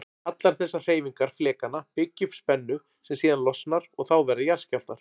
Allar þessar hreyfingar flekanna byggja upp spennu sem síðan losnar og þá verða jarðskjálftar.